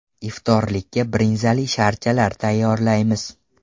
Iftorlikka brinzali sharchalar tayyorlaymiz.